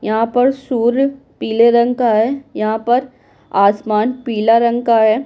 यहाँ पर सूर्य पीले रंग का है यहाँ पर आसमान पीला रंग का है।